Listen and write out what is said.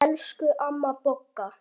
Elsku amma Bogga.